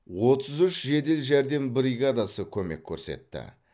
отыз үш жедел жәрдем бригадасы көмек көрсетті